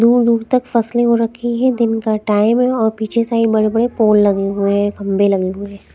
दूर-दूर तक फसलें हो रखी हैं दिन का टाइम है और पीछे साइड बड़े-बड़े पोल लगे हुए हैं खंभे लगे हुए हैं।